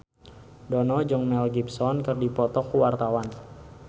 Dono jeung Mel Gibson keur dipoto ku wartawan